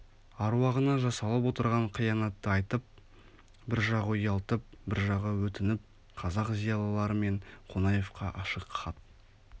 аруағына жасалып отырған қиянатты айтып бір жағы ұялтып бір жағы өтініп қазақ зиялылары мен қонаевқа ашық хат